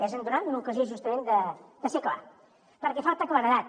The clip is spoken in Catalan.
és en donar li una ocasió justament de ser clar perquè falta claredat